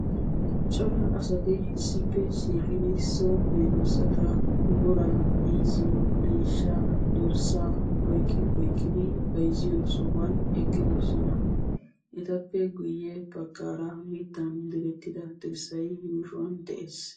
Cora asati issippe shiiqidi so medoosata booraa, miizziyo, deeshsha, dorssaa oykkidi bayzzito sohuwan eqqidoosona. Etappe guyye baggaara mittan dirertida dirssay yuushshuwan de'ees.